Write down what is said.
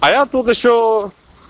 а я тут ещё